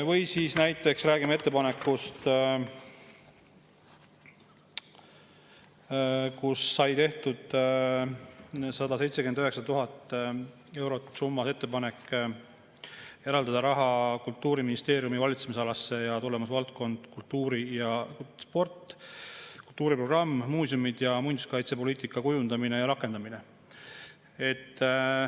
Või näiteks räägime ettepanekust, et 179 000 eurot eraldada Kultuuriministeeriumi valitsemisala tulemusvaldkonna "Kultuur ja sport" "Kultuuriprogramm" "Muuseumi- ja muinsuskaitsepoliitika kujundamine ning rakendamine".